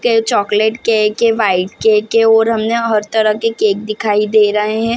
के chocolate cake है white cake है और हमने हमे हर तरह के केक दिखाई दे रहे हैं ।